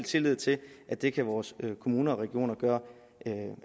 tillid til at det kan vores kommuner og regioner gøre